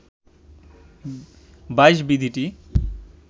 ২২ বিধিটি